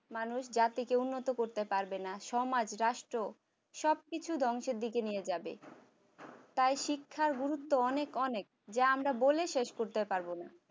মানুষ জাতিকে উন্নত করতে পারবেনা সমাজ রাষ্ট্র সবকিছু ধ্বংসের দিকে নিয়ে যাবে তাই শিক্ষার গুরুত্ব অনেক অনেক যা আমরা বলে শেষ করতে পারবো না